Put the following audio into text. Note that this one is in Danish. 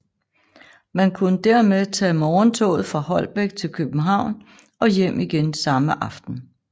Man kunne dermed tage morgentoget fra Holbæk til København og hjem igen samme aften